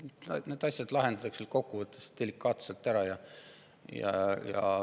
Need asjad lahendatakse kokkuvõttes delikaatselt ära.